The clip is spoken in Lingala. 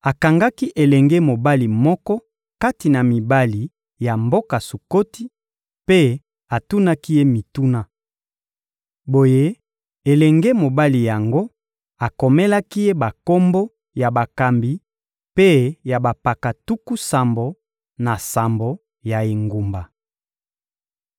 Akangaki elenge mobali moko kati na mibali ya mboka Sukoti, mpe atunaki ye mituna. Boye, elenge mobali yango akomelaki ye bakombo ya bakambi mpe ya bampaka tuku sambo na sambo ya engumba.